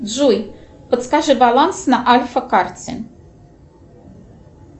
джой подскажи баланс на альфа карте